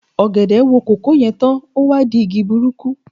Ọ̀gẹ̀dẹ̀ wo kòkó yè tán, ó wá di igi burúkú